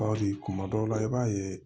Baw kuma dɔw la i b'a ye